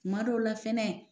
Tuma dɔw la fɛnɛ